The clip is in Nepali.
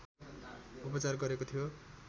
उपचार गरेको थियो